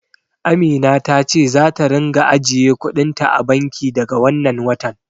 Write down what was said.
Amina ta ce zata ringa ajiye kuɗin ta a banki daga wannan watan.